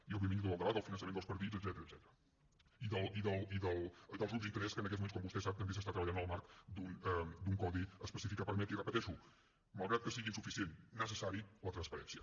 i òbviament hi ha tot el debat del finançament dels partits etcètera i dels grups d’interès que en aquests moments com vostè sap també s’està treballant el marc d’un codi específic que permeti i ho repeteixo malgrat que sigui insuficient necessari la transparència